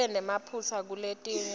ibe nemaphutsa kuletinye